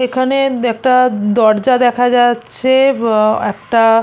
এখানে একটা দরজা দেখা যাচ্ছে-এ আহ একটা --